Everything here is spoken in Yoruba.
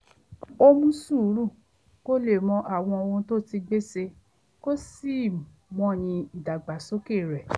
ó mú sùúrù kó lè mọ àwọn ohun tó ti gbé ṣe kó sì mọyì ìdàgbàsókè rẹ̀